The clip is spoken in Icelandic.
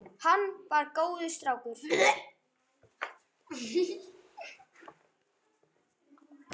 Hann var drengur góður.